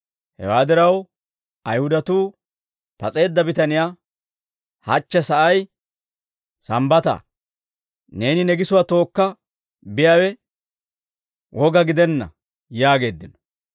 Hewaa diraw, Ayihudatuu pas'eedda bitaniyaa, «Hachche sa'ay Sambbataa; neeni ne gisuwaa tookka biyaawe woga gidenna» yaageeddino.